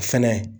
O fɛnɛ